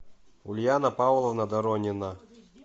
ульяна павловна доронина